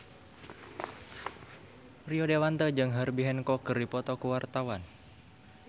Rio Dewanto jeung Herbie Hancock keur dipoto ku wartawan